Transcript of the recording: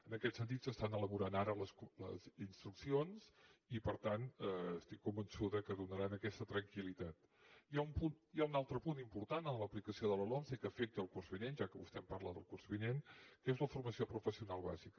en aquest sentit s’estan elaborant ara les instruccions i per tant estic convençuda que donaran aquesta tranquilhi ha un altre punt important en l’aplicació de la lomce que afecta el curs vinent ja que vostè em parla del curs vinent que és la formació professional bàsica